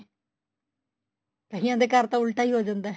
ਕਇਆ ਦੇ ਘਰ ਤਾਂ ਉਲਟਾ ਈ ਹੋ ਜਾਂਦਾ